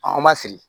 an ma siri